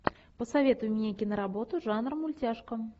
посоветуй мне киноработу жанра мультяшка